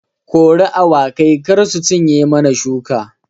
Kori awakai kar su cinye mana shuka